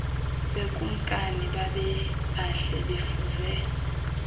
bekumkani babebahle befuze